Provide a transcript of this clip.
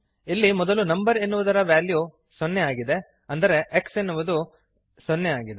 ಇಲ್ಲಿ ಮೊದಲು ನಂಬರ್ ಎನ್ನುವುದರ ವ್ಯಾಲ್ಯು ೦ ಆಗಿದೆ ಅಂದರೆ x ಎನ್ನುವುದು 0 ಆಗಿದೆ